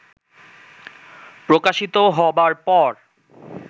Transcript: প্রকাশিত হবার পর